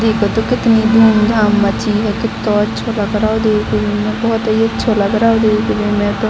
देखो तो कितनी धूम-धाम मची है | कीतो अच्छो लग रहे हो देखने में बहुत ही अच्छा लग रहो है देखने में तो ।